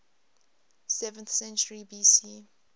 seventh century bc